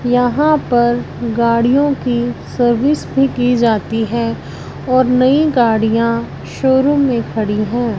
यहां पर गाड़ियों की सर्विस भी की जाती है और नई गाड़ियां शोरूम में खड़ी है।